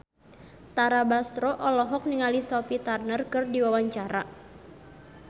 Tara Basro olohok ningali Sophie Turner keur diwawancara